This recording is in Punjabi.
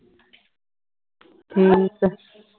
ਠੀਕ ਹੈ